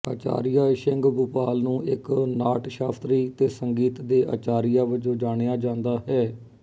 ਆਚਾਰੀਆ ਸ਼ਿੰਗਭੂਪਾਲ ਨੂੰ ਇੱਕ ਨਾਟਸ਼ਾਸਤਰੀ ਤੇ ਸੰਗੀਤ ਦੇ ਅਚਾਰੀਆ ਵਜੋਂ ਜਾਣਿਆ ਜਾਂਦਾ ਹੈ